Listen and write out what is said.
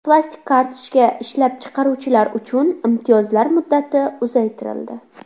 Plastik kartochka ishlab chiqaruvchilar uchun imtiyozlar muddati uzaytirildi.